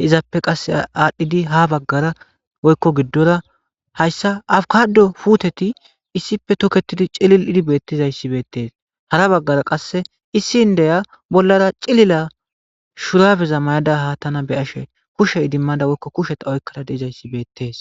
heizaappe qas aadhdhidi ha baggara woykko giddora hayssa awkado puteti issippe tokketidi cilil7idi beettizayssi beettees hara baggara qasse issi n deya bollara cilila shurabeza may7ada haattana be ashe kushe idimmada woykko kusheta oykkada deizayssi beettees